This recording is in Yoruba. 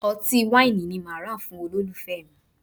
Ọtí wáìnì ni mo máa rà fún olólùfẹ́ mi